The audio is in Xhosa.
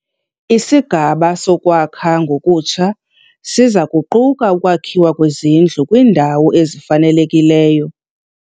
Isigaba sokwakha ngokutsha siza kuquka ukwakhiwa kwezindlu kwiindawo ezifanelekileyo.